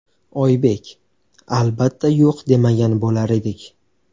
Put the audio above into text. Oybek: Albatta, yo‘q demagan bo‘lar edik.